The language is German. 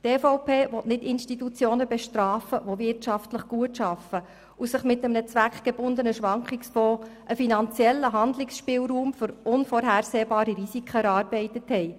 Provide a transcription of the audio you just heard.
Zur Massnahme 44.3.3: Die EVP will nicht Institutionen bestrafen, die wirtschaftlich gut arbeiten und sich mit einem zweckgebundenen Schwankungsfonds einen finanziellen Handlungsspielraum für unvorhersehbare Risiken erarbeitet haben.